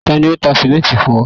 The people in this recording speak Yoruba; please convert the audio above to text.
tani o ta simenti fun ọ?